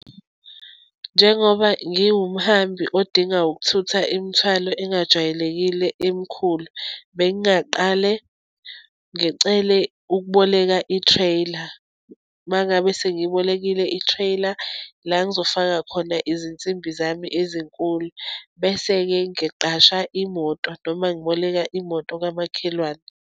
Njengoba ngiwumhambi odinga ukuthutha imithwalo engajwayelekile emikhulu, bengingaqale ngicele ukuboleka i-trailer. Uma ngabe sengiyibokile i-trailer, la ngizofaka khona izinsimbi zami ezinkulu, bese-ke ngiqasha imoto, noma ngiboleka imoto kamakhelwane.